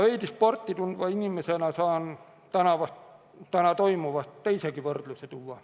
Veidi sporti tundva inimesena saan täna toimuva kohta tuua teisegi võrdluse.